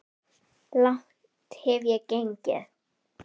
Langt hef ég gengið.